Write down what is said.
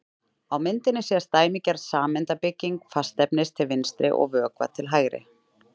Á myndinni sést dæmigerð sameindabygging fastefnis til vinstri og vökva til hægri.